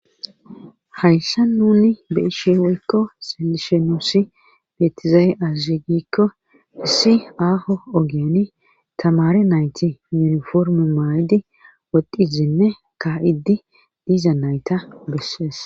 hayssa nuni beishe woykko silishenosi biyetizaaye azzegikko hissi aaho ogiani tamare nayti yuniforme maa7idi wodizinne ka7idi diiza nayta bessees